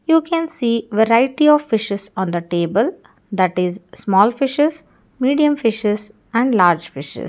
you can see variety of fishes on the table that is small fishes medium fishes and large fishes.